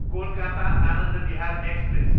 Kolkata, Anand Vihar express